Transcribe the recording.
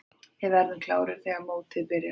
Við verðum klárir þegar mótið byrjar.